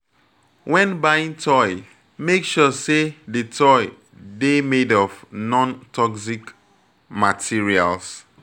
When buying toy, make sure sey di toy dey made of non-toxic materials